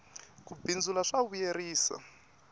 ku bindzula swa vuyerisa